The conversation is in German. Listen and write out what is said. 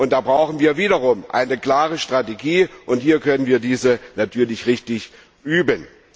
Da brauchen wir wiederum eine klare Strategie, und hier können wir diese natürlich richtig üben.